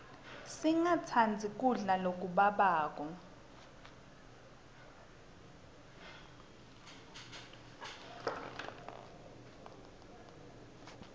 singatsandzi kudla lokubabako